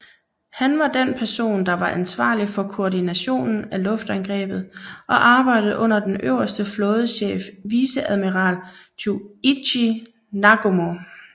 Han var den person der var ansvarlig for koordinationen af luftangrebet og arbejdede under den øverste flådechef viceadmiral Chuichi Nagumo